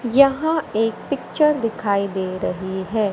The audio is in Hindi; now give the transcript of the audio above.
यहां एक पिक्चर दिखाई दे रही है।